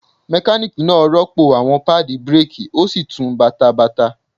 Mekaniki naa rọpo awọn paadi bireeki o si tun bata bata.